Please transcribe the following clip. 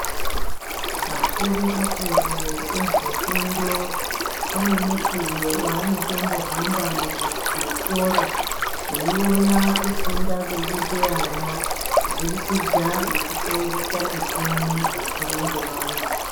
Akuru akuru ezvefundo anemukuwo wanotombohamba muzvikora eiona kufunda kurikuita ana kubudikidza ngekuseenzesa michini yechimanje manje.